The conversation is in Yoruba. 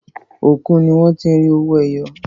Òkun ní wọ́n ti rí owó ẹyọ.